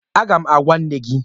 Aga m agwa nne gị